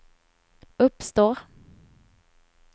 uppstår